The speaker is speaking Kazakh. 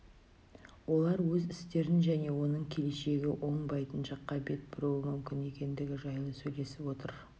олар өз істерін және оның келешегі оңбайтын жаққа бет бұруы мүмкін екендігі жайлы сөйлесіп отыр